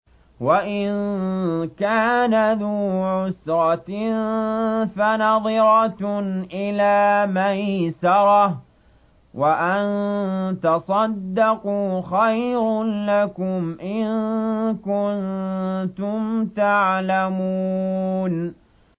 وَإِن كَانَ ذُو عُسْرَةٍ فَنَظِرَةٌ إِلَىٰ مَيْسَرَةٍ ۚ وَأَن تَصَدَّقُوا خَيْرٌ لَّكُمْ ۖ إِن كُنتُمْ تَعْلَمُونَ